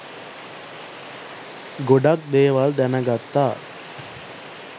ගොඩක් දේවල් දැනගත්තා